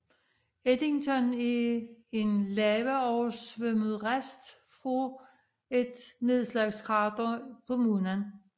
Eddington er en lavaoversvømmet rest af et nedslagskrater på Månen